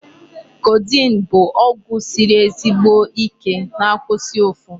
Codeine bụ ọgwụ siri ezigbo Ike na-akwụsị ụfụ.